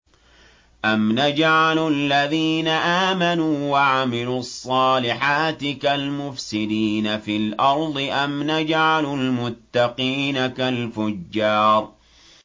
أَمْ نَجْعَلُ الَّذِينَ آمَنُوا وَعَمِلُوا الصَّالِحَاتِ كَالْمُفْسِدِينَ فِي الْأَرْضِ أَمْ نَجْعَلُ الْمُتَّقِينَ كَالْفُجَّارِ